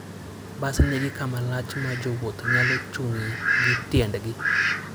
Bas nigi kama lach ma jowuoth nyalo chung'ie gi tiendgi.